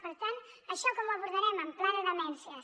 per tant això com ho abordarem amb pla de demències